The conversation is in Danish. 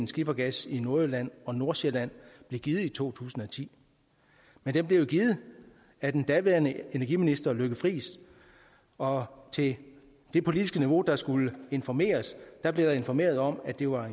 skifergas i nordjylland og nordsjælland blev givet i to tusind og ti men den blev jo givet af den daværende energiminister lykke friis og til det politiske niveau der skulle informeres blev der informeret om at det var